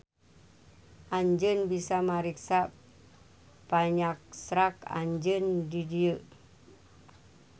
Anjeun bisa mariksa panyaksrak anjeun di dieu.